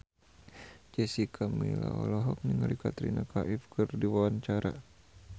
Jessica Milla olohok ningali Katrina Kaif keur diwawancara